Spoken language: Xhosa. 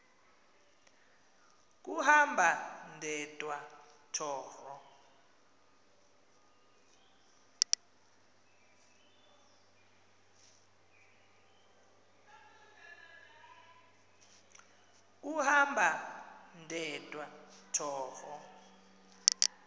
kuhamba ndedwa torho